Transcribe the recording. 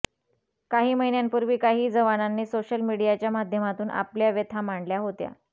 काही महिन्यांपूर्वी काही जवानांनी सोशल मीडियाच्या माध्यमातून आपल्या व्यथा मांडल्या होत्या